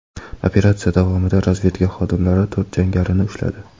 Operatsiya davomida razvedka xodimlari to‘rt jangarini ushladi.